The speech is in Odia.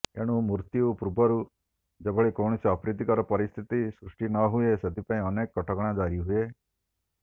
ଏଣୁ ମୃତ୍ୟୁ ପୂର୍ବରୁ ଯେଭଳି କୈାଣସି ଅପ୍ରିତିକର ପରିସ୍ଥିତି ସୃଷ୍ଟି ନହୁଏ ସେଥିପାଇଁ ଅନେକ କଟକଣା ଜାରି ହୁଏ